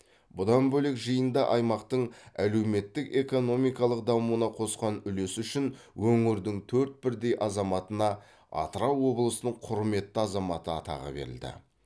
бұдан бөлек жиында аймақтың әлеуметтік экономикалық дамуына қосқан үлесі үшін өңірдің төрт бірдей азаматына атырау облысының құрметті азаматы атағы берілді